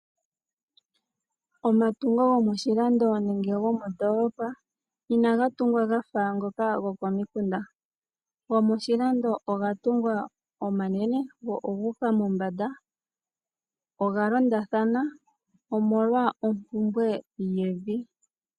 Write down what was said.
Omatungo gomoshilando nenge gomoondolopa inaga tungwa ga fa ngoka gokomikunda. Gomoshilando oga tungwa omanene go ogu uka mombanda. Oga londathana, omolwa ompumbwe yevi.